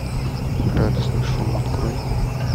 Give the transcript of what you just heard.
радостный шум открой